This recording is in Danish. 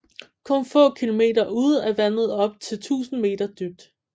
Kun få kilometer ude er vandet op til 1000 meter dybt